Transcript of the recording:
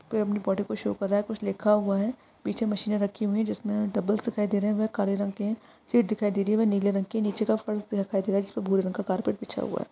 पे अपनी बॉडी को शो कर रहा है कुछ लिखा हुआ है पीछे मशीने रखी हुई है जिसमे डंबल्स दिखाई दे रहे है काले रंग के है सीट दिखाई दे रही है वह नीले रंग की है नीचे का फर्श दिखाई दे रहा है जिसपे भूरे रंग का कार्पेट बिछा हुआ है।